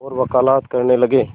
और वक़ालत करने लगे